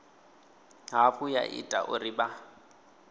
hafhu ya ita uri vha